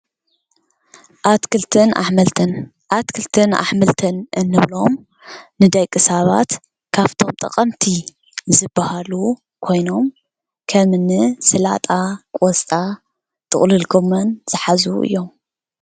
ኣትክልትን ኣሕምልትን ፦ኣትክልትን ኣሕምልትን እንብሎም ንደቂ ሰባት ካብቶም ጠቀምቲ ዝበሃሉ ኮይኖም ከምኒ ስላጣ፣ ቆስጣ፣ ጥቅልል ጎመን ዝሓዙ እዮም።